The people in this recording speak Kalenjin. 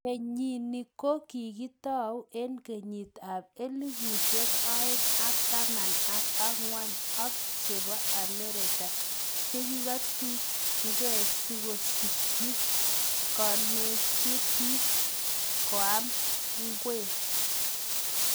Kenyinii ko kikitauu eng kenyiit ap elfusiek oeng ak taman ak angwan ak chepo Amerika chekiketungei sikosikyii kenaisechii piik kaom ngwek